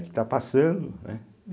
está passando, né?